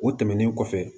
O tɛmɛnen kɔfɛ